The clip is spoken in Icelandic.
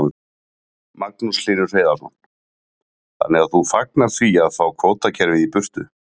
Magnús Hlynur Hreiðarsson: Þannig að þú fagnar því að fá kvótakerfið í burtu?